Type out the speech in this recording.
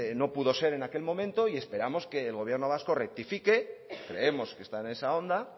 no pudo ser en aquel momento y esperamos que el gobierno vasco rectifique creemos que está en esa onda